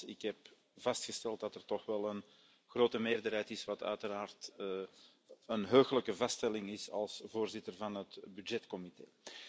Maar nogmaals, ik heb vastgesteld dat er toch wel een grote meerderheid is, wat uiteraard een heuglijke vaststelling is als voorzitter van de Begrotingscommissie.